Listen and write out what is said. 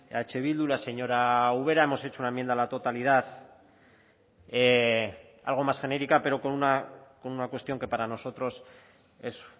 eh bildu la señora ubera hemos hecho una enmienda a la totalidad algo más genérica pero con una cuestión que para nosotros es